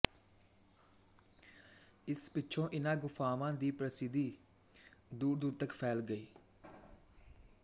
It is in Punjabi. ਇਸ ਪਿੱਛੋਂ ਇਨ੍ਹਾਂ ਗੁਫਾਵਾਂ ਦੀ ਪ੍ਰਸਿੱਧੀ ਦੂਰਦੂਰ ਤੱਕ ਫੈਲ ਗਈ